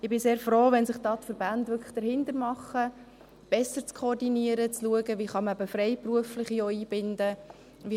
– Ich bin sehr froh, wenn sich die Verbände da wirklich dahinter machen, besser zu koordinieren, zu schauen, wie man eben auch Freiberufliche einbinden kann.